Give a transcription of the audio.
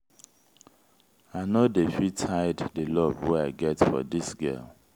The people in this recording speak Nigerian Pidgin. i no dey fit hide di love wey i get for dis girl.